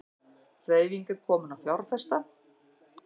Hreyfing komin á fjárfesta